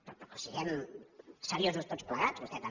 però siguem seriosos tots plegats vostè també